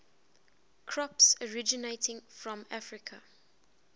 crops originating from africa